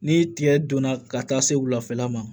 Ni tigɛ donna ka taa se wula fɛ la ma